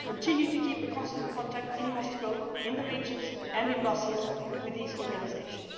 We will continue to keep in constant contact, in Moscow, in the regions and in Brussels, with these organisations.